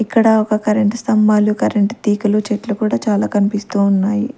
ఇక్కడ ఒక కరెంటు స్తంభాలు కరెంట్ తీగలు చెట్లు కూడా చాలా కన్పిస్తూ ఉన్నాయి.